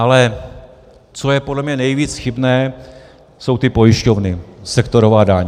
Ale co je podle mě nejvíc chybné, jsou ty pojišťovny, sektorová daň.